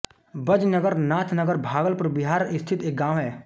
बजनगर नाथनगर भागलपुर बिहार स्थित एक गाँव है